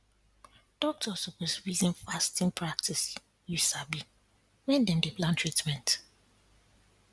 doctors suppose reason fasting practice you sabi when dem dey plan treatment